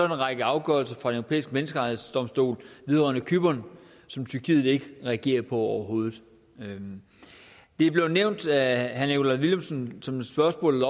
en række afgørelser fra den europæiske menneskerettighedsdomstol vedrørende cypern som tyrkiet ikke reagerer på overhovedet det blev nævnt af herre nikolaj villumsen som et spørgsmål